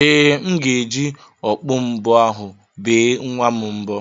Ee, m ga-eji okpu mbo ahụ bee nwa m mbo.